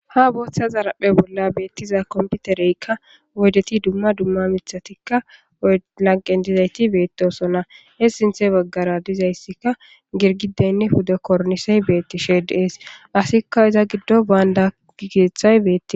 Ha booththa zarapphe bolla beettiza komputereykka woydeti dumma dumma mithatikka lanqen dizayti beettosonna he sinthe baggara dizayssikka girgideynne huda kornisey beettishe deees asikka iza giddo baanda gigeeththay beettis.